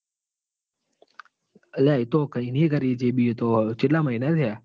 અલ્યા એતો કઈ બી કરે છે ચેટલા મહિના થયા.